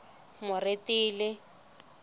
moretele